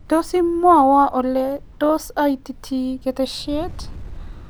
tos imwaiwo ole tos aitite keteshet